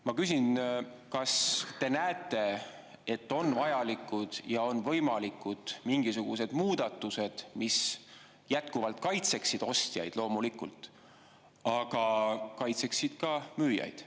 Ma küsin, kas te näete, et on vajalikud ja võimalikud mingisugused muudatused, mis jätkuvalt kaitseksid ostjaid, loomulikult, aga kaitseksid ka müüjaid.